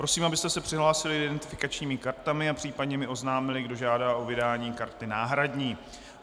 Prosím, abyste se přihlásili identifikačními kartami a případně mi oznámili, kdo žádá o vydání karty náhradní.